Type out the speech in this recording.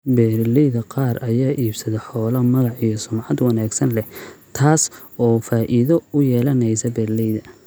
Beeralayda qaar ayaa iibsada xoolo magac iyo sumcad wanaagsan leh, taas oo faa�iido u yeelanaysa beeralayda.